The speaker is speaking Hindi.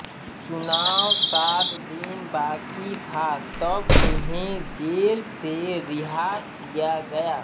चुनाव सात दिन बाकी था तब उन्हें जेल से रिहा किया गया